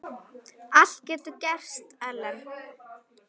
Allt getur gerst, Ellen.